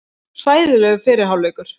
Hræðilegur fyrri hálfleikur